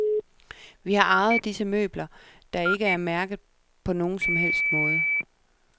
Vi har arvet disse møbler, der ikke er mærket på nogen som helst måde.